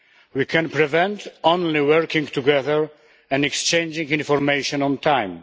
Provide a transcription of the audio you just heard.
We can prevent only by working together and exchanging information on time.